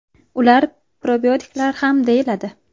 Ular probiotiklar ham deyiladi.